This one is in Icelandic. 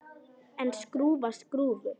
En skrúfa skrúfu?